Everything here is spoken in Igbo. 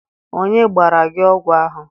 Onye gbara gị ogwu ahụ?